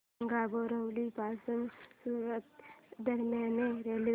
सांगा बोरिवली पासून सूरत दरम्यान रेल्वे